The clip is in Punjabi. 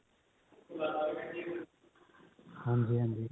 ਹਾਂਜੀ ਹਾਂਜੀ